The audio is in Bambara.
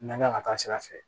N'an kan ka taa sira fɛ